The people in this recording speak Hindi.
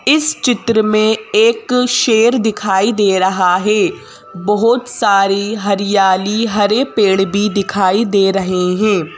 इस चित्र में एक शेर दिखाई दे रहा है बहुत सारी हरियाली हरे पेड़ भी दिखाई दे रहे हैं।